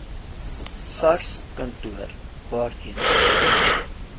sarskantoor waarheen u